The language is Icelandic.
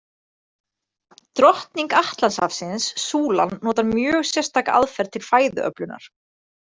Drottning Atlantshafsins, súlan notar mjög sérstaka aðferð til fæðuöflunar.